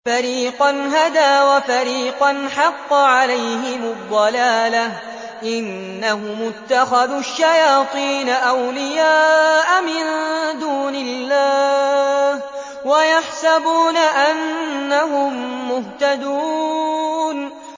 فَرِيقًا هَدَىٰ وَفَرِيقًا حَقَّ عَلَيْهِمُ الضَّلَالَةُ ۗ إِنَّهُمُ اتَّخَذُوا الشَّيَاطِينَ أَوْلِيَاءَ مِن دُونِ اللَّهِ وَيَحْسَبُونَ أَنَّهُم مُّهْتَدُونَ